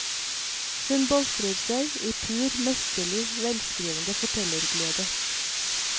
Hun boltrer seg i pur, mesterlig velskrivende fortellerglede.